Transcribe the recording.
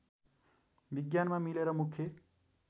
विज्ञानमा मिलेर मुख्य